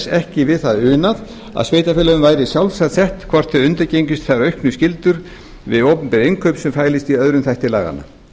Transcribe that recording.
ekki við það unað að sveitarfélögunum væri í sjálfsvald sett hvort þau undirgengjust þær auknu skyldur við opinber innkaup sem felast í aðra þætti laganna